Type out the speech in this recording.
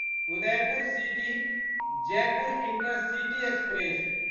Udaipur city Jaipur intercity express